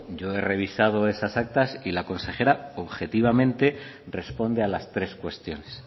yo he revisado esas actas y la consejera objetivamente responde a las tres cuestiones